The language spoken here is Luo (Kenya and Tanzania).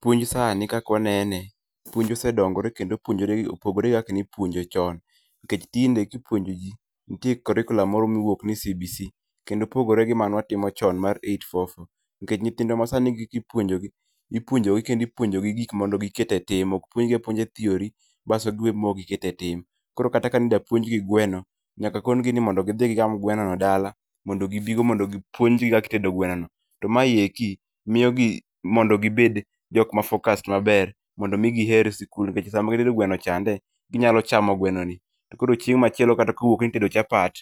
Puonj sani kaka wanene , puonj ose dongore kendo opogore gi kaka ne ipuonjo chon. Nikech tinde kipuonjo ji nitie curriculam moro mowuok ni CBC kendo opogore gi mane watimo chon mar 844 nikech nyithindwa masani gik mipuonjogi, ipuonjogi kendo ipuonjogi gik ma mondo giket etim., ok puonji apuonja theory bas giwe maok giketo etim. Koro kata kidwa puonj gi gweno nyaka konigi ni mondo gidhi gigam gweno e dala, mondo gibigo mondo puonjgi kaka itedo gwenono. To mae ti miyo gi mondo gibed jok ma focused maber mondo migiher sikul nikech sama gitedo gweno chande to inyalo chamo gwenoni koro chieng' machielo ka itedo chapat,